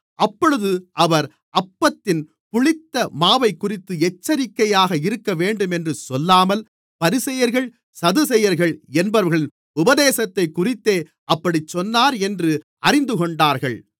அப்பொழுது அவர் அப்பத்தின் புளித்த மாவைக்குறித்து எச்சரிக்கையாக இருக்கவேண்டுமென்று சொல்லாமல் பரிசேயர்கள் சதுசேயர்கள் என்பவர்களின் உபதேசத்தைக்குறித்தே அப்படிச் சொன்னார் என்று அறிந்துகொண்டார்கள்